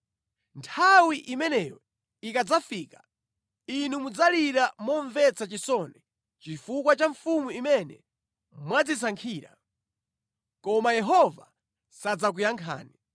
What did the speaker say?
Nthawi imeneyo ikadzafika inu mudzalira momvetsa chisoni chifukwa cha mfumu imene mwadzisankhira, koma Yehova sadzakuyankhani.”